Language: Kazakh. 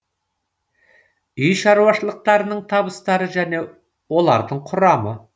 үй шаруашылықтарының табыстары және олардың құрамы